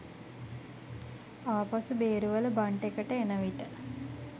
ආපසු බේරුවල බන්ට් එකට එන විට